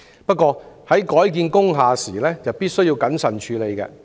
不過，在改建工廈時必須謹慎處理。